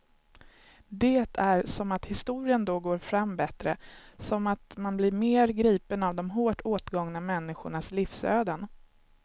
Det är som att historien då går fram bättre, som att man blir mer gripen av de hårt åtgångna människornas livsöden.